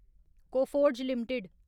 Coforge limited